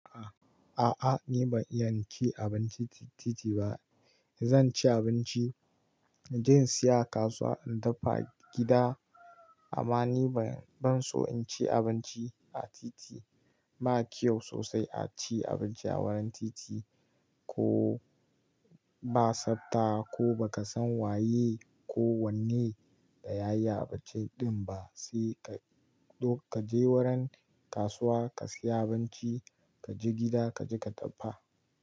A'a, ni ban iya cin abinci a titi ba. Zan ci abinci, inje in siya a kasuwa in dafa a gida. Amma ni ban so in ci abinci a titi. Ba kyau sosai a ci abinci a wurin titi. Ko ba tsafta ko baka san waye ko wanne da ya yi abinci din ba. Sai ka je wurin kasuwa ka siya abinci, ka je gida ka je ka dafa.